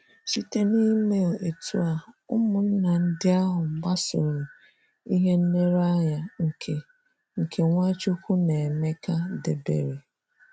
Site na ịme etụ́ a, ụmụnna ndị ahụ gbasoro ihe nlereanya nke nke Nwachukwu na Emeka debere.